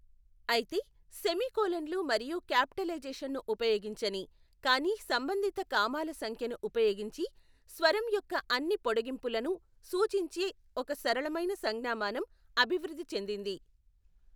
అయితే, సెమీకోలన్లు మరియు క్యాపిటలైజేషన్ను ఉపయోగించని, కానీ సంబంధిత కామాల సంఖ్యను ఉపయోగించి స్వరం యొక్క అన్ని పొడిగింపులను సూచించే ఒక సరళమైన సంజ్ఞామానం అభివృద్ధి చెందింది.